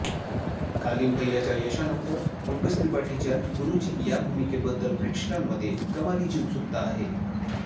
कालीन भैय्याच्या यशानंतर पंकज त्रिपाठीच्या गुरूजी या भूमिकेबद्दल प्रेक्षकांमध्ये कमालीची ऊत्सुकता आहे